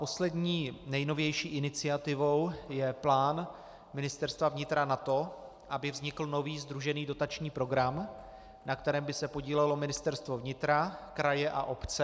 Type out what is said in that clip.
Poslední, nejnovější iniciativou je plán Ministerstva vnitra na to, aby vznikl nový sdružený dotační program, na kterém by se podílelo Ministerstvo vnitra, kraje a obce.